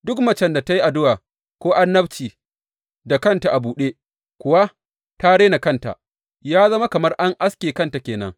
Duk macen da ta yi addu’a ko annabci da kanta a buɗe kuwa ta rena kanta, ya zama kamar an aske kanta ke nan.